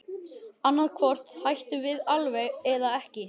Annað hvort hættum við alveg eða ekki.